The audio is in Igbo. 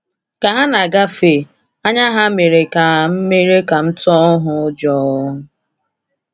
Ka ha na-agafe, anya ha mere ka mere ka m tụọ ụjọ.